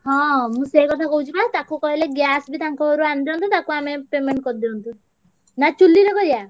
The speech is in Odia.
ହଁ ମୁଁ ସେଇକଥା କହୁଛି ବା ତାକୁ କହିଲେ gas ବି ତାଙ୍କଘରୁ ଆଣିଦିଅନ୍ତେ ତାକୁ ଆମେ payment କରିଦିଅନ୍ତେ। ନା ଚୂଲିରେ କରିଆ?